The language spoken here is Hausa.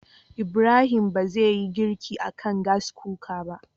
Ibrahim ba zai yi girki akan Gas Cooker ba